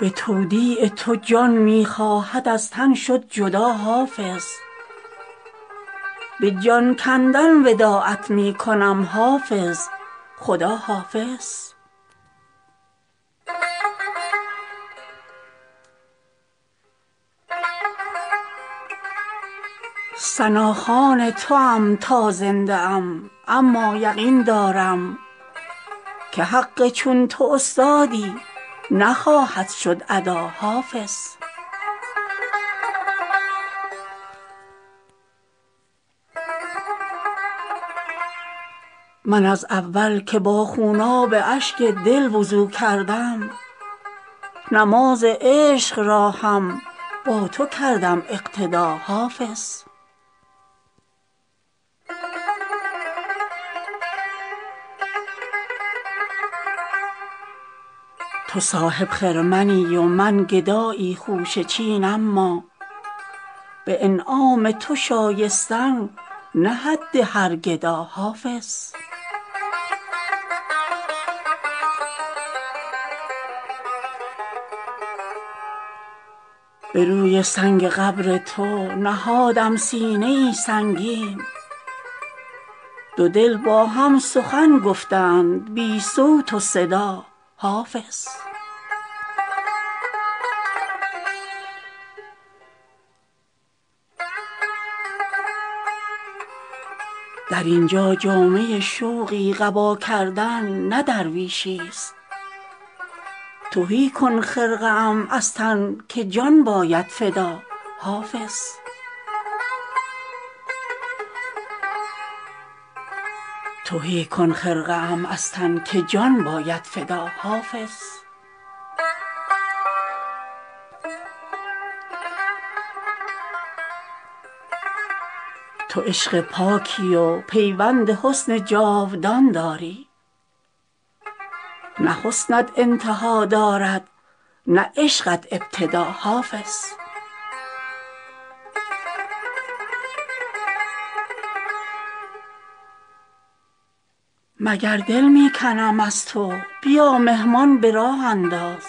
به تودیع تو جان می خواهد از تن شد جدا حافظ به جان کندن وداعت می کنم حافظ خداحافظ ثناخوان توام تا زنده ام اما یقین دارم که حق چون تو استادی نخواهد شد ادا حافظ من از اول که با خوناب اشک دل وضو کردم نماز عشق را هم با تو کردم اقتدا حافظ هم از چاهم برآوردی و هم راهم نشان دادی که هم حبل المتین بودی و هم نورالهدیٰ حافظ تو صاحب خرمنی و من گدایی خوشه چین اما به انعام تو شایستن نه حد هر گدا حافظ به شعری کز تو در آغاز عشق کودکی خواندم به گوش جان هنوزم از خدا آید ندا حافظ به روی سنگ قبر تو نهادم سینه ای سنگین دو دل با هم سخن گفتند بی صوت و صدا حافظ در اینجا جامه شوقی قبا کردن نه درویشی است تهی کن خرقه ام از تن که جان باید فدا حافظ تو عشق پاکی و پیوند حسن جاودان داری نه حسنت انتها دارد نه عشقت ابتدا حافظ سخن را گر همه یک جمله دستوری انگاریم تو و سعدی خبر بودید و باقی مبتدا حافظ هر آنکو زنگ غم دارد به دل از غمزه خوبان تو بزدایی غمش از دل به سازی غم زدا حافظ مگر دل می کنم از تو بیا مهمان به راه انداز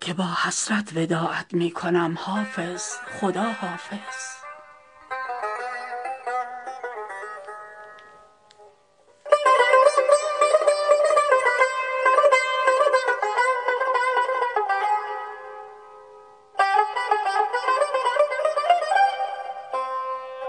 که با حسرت وداعت می کنم حافظ خداحافظ